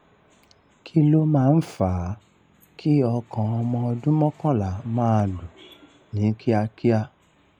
kí ló máa ń fa a kí ọkàn ọmọ ọdún mọ́kànlá máa lù ní kíákíá?